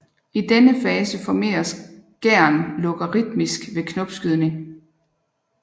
I denne fase formeres gæren logaritmisk ved knopskydning